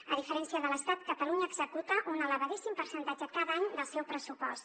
a diferència de l’estat catalunya executa un elevadíssim percentatge cada any del seu pressupost